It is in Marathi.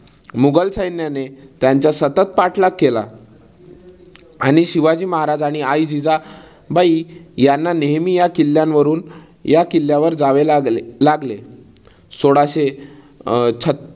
मुघल सैन्याने त्यांचा सतत पाठलाग केला. आणि शिवाजी महाराज आणि आई जिजाबाई यांना नेहमी या किल्ल्यावरून या किल्ल्यावर जावे लागले लागले. सोळाशे अं छत्त